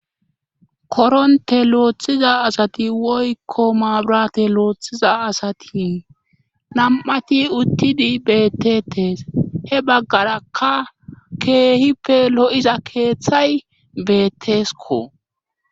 Koronte looththiza asati woykko maabrate looththiza asati nam7ati uttidi beettetes he baggarakka keehippe lo7iza keeththay beettesko